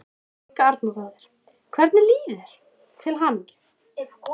Helga Arnardóttir: Hvernig líður þér, til hamingju?